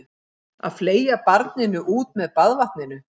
Að fleygja barninu út með baðvatninu